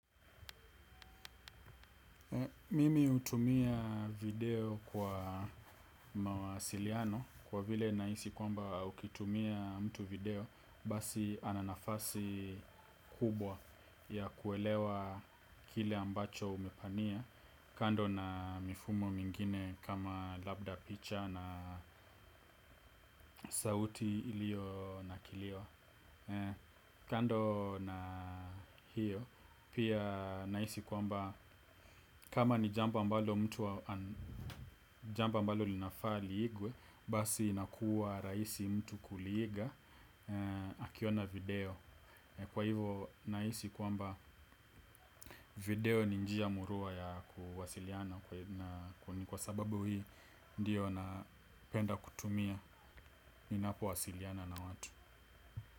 Mimi hutumia video kwa mawasiliano kwa vile nahisi kwamba ukitumia mtu video basi ana nafasi kubwa ya kuelewa kile ambacho umepania kando na mifumo mingine kama labda picha na sauti iliyo na kilio. Kando na hiyo pia nahisi kwamba kama ni jambo ambao mtu jambo ambalo linafaa liigwe. Basi inakuwa rahisi mtu kuliiga akiona video. Kwa hivo nahisi kwamba video ni njia murua ya kuwasiliana. Kwa sababu hii ndiyo napenda kutumia. Ninapowasiliana na watu.